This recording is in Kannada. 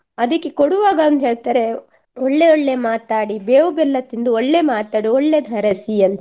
ಅದಿಕ್ಕೆ ಕೊಡುವಾಗ ಒಂದ್ ಹೇಳ್ತಾರೆ ಒಳ್ಳೆ ಒಳ್ಳೆ ಮಾತಾಡಿ ಬೇವು ಬೆಲ್ಲ ತಿಂದು ಒಳ್ಳೆ ಮಾತಾಡಿ ಒಳ್ಳೆತರ ಸಿಹಿ ಅಂತ.